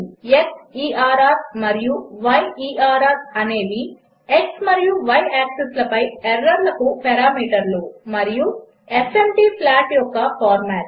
క్సెర్ మరియు యెర్ అనేవి x మరియు y యాక్సిస్ల పై ఎర్రర్లకు పారామీటర్లు మరియు ఎఫ్ఎంటీ ప్లాట్ యొక్క ఫార్మాట్